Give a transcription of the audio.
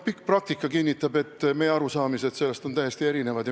Pikk praktika kinnitab, et meie arusaamad sellest on täiesti erinevad.